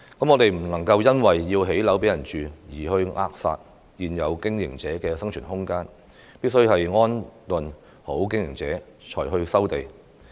我們不能因為要興建房屋而扼殺現有經營者的生存空間，必須安頓好經營者才去收地。